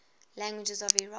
languages of iraq